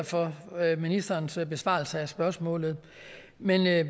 for ministerens besvarelse af spørgsmålet men jeg er